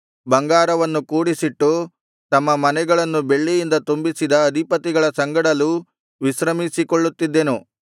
ಬಂಗಾರವನ್ನು ಕೂಡಿಸಿಟ್ಟು ತಮ್ಮ ಮನೆಗಳನ್ನು ಬೆಳ್ಳಿಯಿಂದ ತುಂಬಿಸಿದ ಅಧಿಪತಿಗಳ ಸಂಗಡಲೂ ವಿಶ್ರಮಿಸಿಕೊಳ್ಳುತ್ತಿದ್ದೆನು